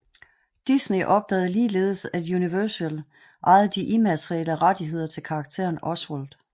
Disney opdagede ligeledes at Universal ejede de immaterielle rettigheder til karakteren Oswald